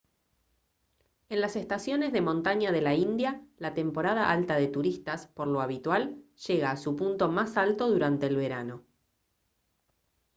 en las estaciones de montaña de la india la temporada alta de turistas por lo habitual llega a su punto más alto durante el verano